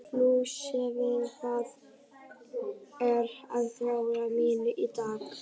Lúsifer, hvað er á dagatalinu mínu í dag?